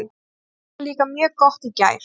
Hnéð var líka mjög gott í gær.